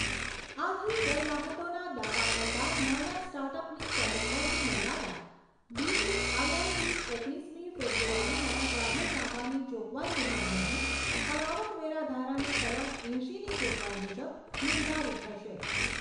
આથી કર રાહતોના દાવા કરતા નાના સ્ટાર્ટઅપની ટર્ન ઓવરની મર્યાદા ડીપીઆઈઆઈટી ઓગણીસમી ફેબ્રુઆરીના જાહેરનામાની જોગવાઈ મુજબ નહીંં પણ આવકવેરા ધારાની કલમ એંશીની જોગવાઈ મુજબ નિર્ધારીત થશે.